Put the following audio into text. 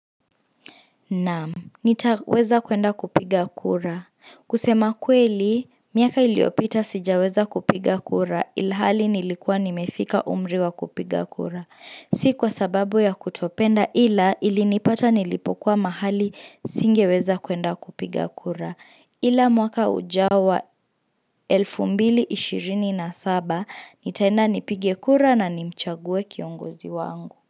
Naam, nitaweza kuenda kupiga kura. Kusema kweli, miaka iliyopita sijaweza kupiga kura ilhali nilikuwa nimefika umri wa kupiga kura. Si kwa sababu ya kutopenda ila ilinipata nilipokuwa mahali singeweza kuenda kupiga kura. Ila mwaka ujao 2027, nitaenda nipige kura na nimchague kiongozi wangu.